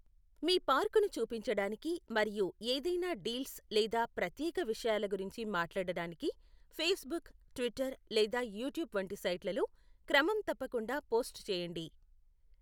మీ పార్కును చూపించడానికి మరియు ఏదైనా డీల్స్ లేదా ప్రత్యేక విషయాల గురించి మాట్లాడటానికి ఫేస్బుక్, ట్విట్టర్ లేదా యూట్యూబ్ వంటి సైట్లలో క్రమం తప్పకుండా పోస్ట్ చేయండి.